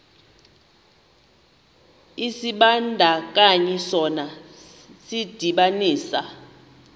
isibandakanyi sona sidibanisa